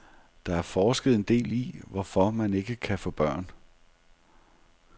Der er forsket en del i, hvorfor man ikke kan få børn.